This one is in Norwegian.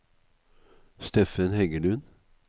Steffen Heggelund